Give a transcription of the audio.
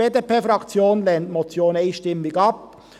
Die BDP-Fraktion lehnt diese Motion einstimmig ab.